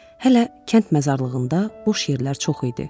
Hələ kənd məzarlığında boş yerlər çox idi.